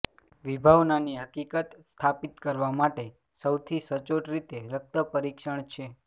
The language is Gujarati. વિભાવનાની હકીકત સ્થાપિત કરવા માટે સૌથી સચોટ રીતે રક્ત પરીક્ષણ છે